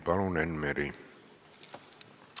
Palun, Enn Meri!